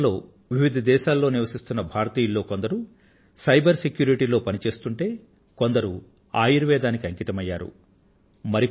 Europe లో వివిధ దేశాలలో నివసిస్తున్న భారతీయుల కొందరు సైబర్ సెక్యూరిటీలో పని చేస్తుంటే కొందరు ఆయుర్వేదానికి అంకితమయ్యారు